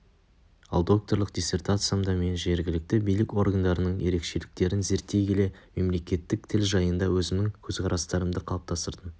ал докторлық диссертациямда мен жергілікті билік органдарының ерекшеліктерін зерттей келе мемлекеттік тіл жайында өзімнің көзқарастарымды қалыптастырдым